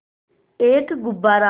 एक गुब्बारा